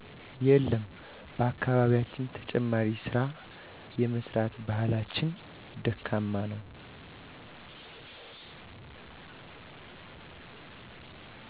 የለም በአካባቢያችን ተጨማሪ ስራ የመስራት ባህላችን ደካማ ነው